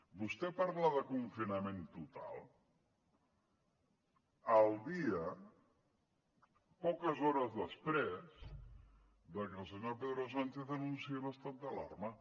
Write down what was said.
vostè parla de confinament total el dia poques hores després de que el senyor pedro sánchez anunciés l’estat d’alarma